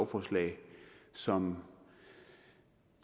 forslag som